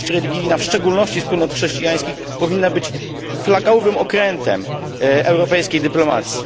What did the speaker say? Wolność religijna, w szczególności wspólnot chrześcijańskich, powinna być flagowym okrętem europejskiej dyplomacji.